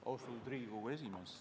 Austatud Riigikogu esimees!